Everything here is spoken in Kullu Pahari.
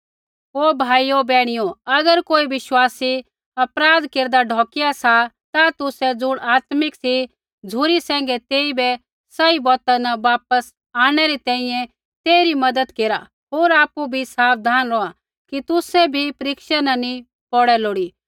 ओ भाइयो बैहणियो अगर कोई विश्वासी अपराध केरदा ढोकिया सा ता तुसै ज़ुण आत्मिक सी झ़ुरी सैंघै तेइबै सही बौता न वापस आंणनै री तैंईंयैं तेइरी मज़त केरा होर आपु भी साबधान रौहा कि तुसै भी परीक्षा न नी पोड़ै लोड़ी